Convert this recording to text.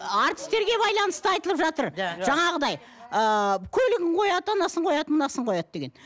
әртістерге байланысты айтылып жатыр жаңағыдай ыыы көлігін қояды анасын қояды мынасын қояды деген